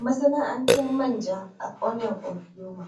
Masana'antar manja a ƙauyen ogboma.